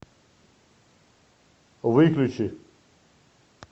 выключи